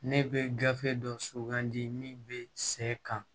Ne bɛ gafe dɔ sugandi min bɛ sɛ kan